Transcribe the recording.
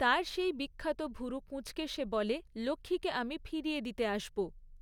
তার সেই বিখ্যাত ভুরু কুঁচকে সে বলে, লক্ষ্মীকে আমি ফিরিয়ে দিয়ে আসব।